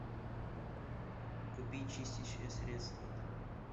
купи чистящее средство